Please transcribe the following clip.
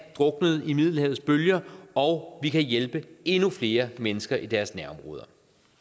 druknede i middelhavets bølger og vi kan hjælpe endnu flere mennesker i deres nærområder